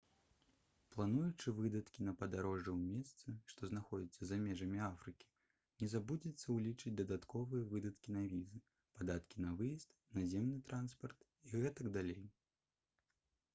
плануючы выдаткі на падарожжа ў месцы што знаходзяцца за межамі афрыкі не забудзьцеся ўлічыць дадатковыя выдаткі на візы падаткі на выезд наземны транспарт і г.д